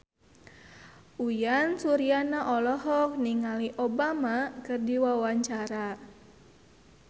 Uyan Suryana olohok ningali Obama keur diwawancara